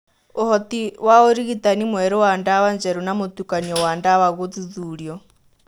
ũhoti wa ũrigitani mwerũ wa ndawa njerũ na mũtukanio wa ndawa gũthuthurio.